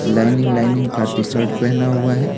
Lining lining का T shirt पहना हुआ है।